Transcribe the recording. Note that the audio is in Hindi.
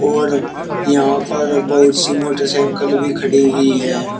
और यहां पर बहुत सी मोटरसाइकिल भी खड़ी हुई है।